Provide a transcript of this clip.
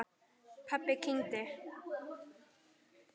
Pabbi kyngdi.